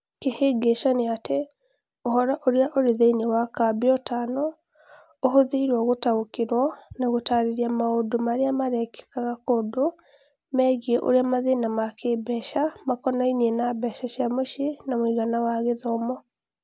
Kĩhĩngĩca nĩatĩ ũhoro ũrĩa ũrĩ thĩinĩ wa Kambiutano ũhũthĩrũo gũtaũkĩrũo na gũtaarĩria maũndũ marĩa marekĩkaga kũndũ megiĩ ũrĩa mathĩna ma kĩĩmbeca makonainie na mbeca cia mũciĩ na mũigana wa gĩthomo.